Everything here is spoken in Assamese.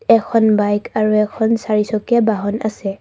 এখন বাইক আৰু এখন চাৰিচকীয়া বাহন আছে।